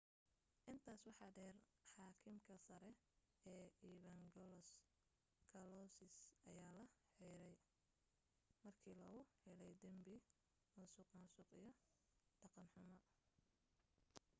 intaas waxa dheer xaakimka sare ee evangelos kalousis ayaa la xiray markii lagu helay dambi musuqmaasuq iyo dhaqan xumo